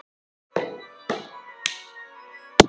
Svandís, slökktu á þessu eftir sextán mínútur.